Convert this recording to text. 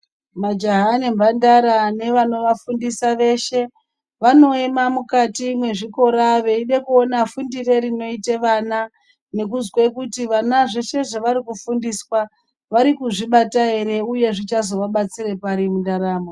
Majaha nemhandara nevanovafundisa veshe vanoema mukati mezvikora veide kuona fundire rinoite vana nekuzwe kuti vana zveshe zvavari kufundiswa vari kuzvibata ere uye zvichazovabatsire pari mundaramo.